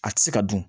A tɛ se ka dun